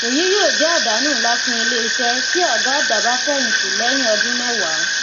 èyí yóò jẹ àdánù ńlá fún iléiṣẹ tí ògá àgbà bá fẹyìntì lẹyìn ọdún mẹwàá